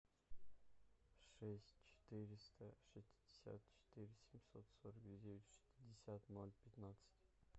шесть четыреста шестьдесят четыре семьсот сорок девять шестьдесят ноль пятнадцать